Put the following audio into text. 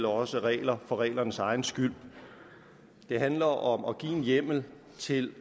også regler for reglernes egen skyld det handler om at give en hjemmel til